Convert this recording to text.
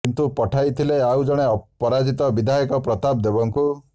କିନ୍ତୁ ପଠାଇଥିଲେ ଆଉ ଜଣେ ପରାଜିତ ବିଧାୟକ ପ୍ରତାପ ଦେବଙ୍କୁ